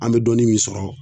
An be dɔɔnin min sɔrɔ